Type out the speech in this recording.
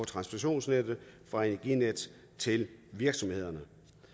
transmissionsnettet fra energinet til virksomhederne